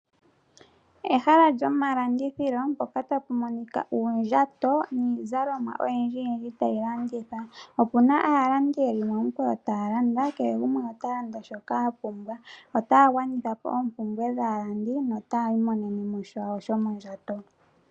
Ehala lyomalandithilo mpoka ta pu monika uundjato niizalomwa oyindji yindji tayi landithwa. Ope na aalandi ye li momikweyo taa landa. Kehe gumwe ota landa shoka a pumbwa. Otaya gwanitha po oompumbwe dhaalandi nota yi imonene po shawo shomondjato.